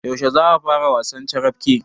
Yaushe za a fara wasan carafke?